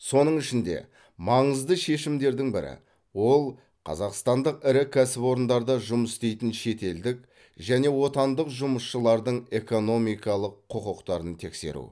соның ішінде маңызды шешімдердің бірі ол қазақстандық ірі кәсіпорындарда жұмыс істейтін шетелдік және отандық жұмысшылардың экономикалық құқықтарын тексеру